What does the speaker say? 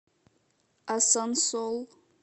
асансол